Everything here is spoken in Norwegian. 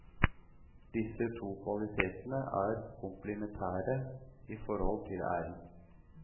Disse to kvalitetene er komplementære i forhold til æren.